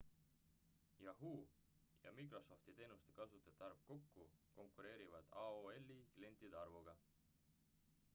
yahoo ja microsofti teenuste kasutajate arv kokku konkureerivad aol-i klientide arvuga